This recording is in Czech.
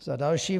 Za další.